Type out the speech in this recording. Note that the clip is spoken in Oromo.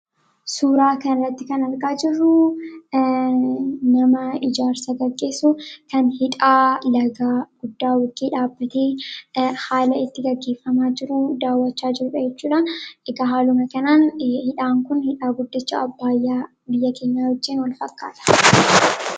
Suuraa kanatti kan argaa jirru nama ijaarsa gaggeessu kan hidha laga guddaa haala itti gaggeeffamaa jiru daawwataa jirudha jechuudha. Egaa haaluma kanaan hidhaan kun hidhaa guddicha biyya keenyaa Abbayaa wajjin wal fakkaata.